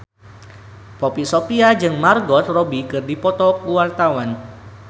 Poppy Sovia jeung Margot Robbie keur dipoto ku wartawan